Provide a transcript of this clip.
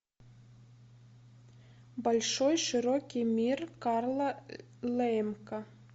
большой широкий мир карла лэемка